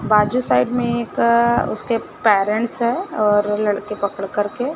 बाजू साइड में एक उसके पेरेंट्स हैं और लड़के पकड़ करके--